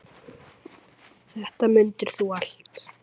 Þetta mundir þú allt.